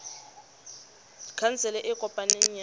khansele e e kopaneng ya